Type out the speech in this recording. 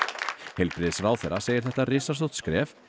heilbrigðisráðherra segir þetta risastórt skref